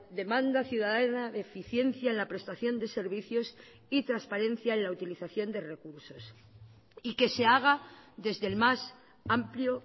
demanda ciudadana de eficiencia en la prestación de servicios y transparencia en la utilización de recursos y que se haga desde el más amplio